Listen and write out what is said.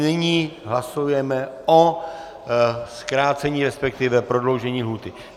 Nyní hlasujeme o zkrácení, respektive prodloužení lhůty.